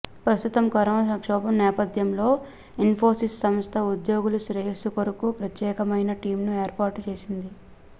ప్రస్తుతం కరోనా సంక్షోభం నేపథ్యంలో ఇన్పోసిస్ సంస్థ ఉద్యోగుల శ్రేయస్సు కొరకు ప్రత్యేకమైన టీమ్ను ఏర్పాటు చేసింది